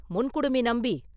முன்குடுமி நம்பி!